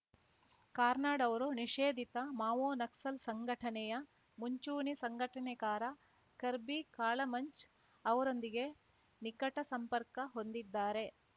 ಕಾರ್ನಾಡ್‌ ಅವರು ನಿಷೇಧಿತ ಮಾವೋ ನಕ್ಸಲ್‌ ಸಂಘಟನೆಯ ಮುಂಚೂಣಿ ಸಂಘಟನೆಕಾರ ಕರ್ಬೀ ಕಾಳ ಮಂಚ್‌ ಅವರೊಂದಿಗೆ ನಿಕಟ ಸಂಪರ್ಕ ಹೊಂದಿದ್ದಾರೆ